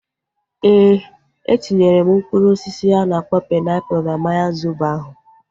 Ee, etinyere m mkpụrụ osisi a na-akpọ painiapulu na mmanya zobo ahu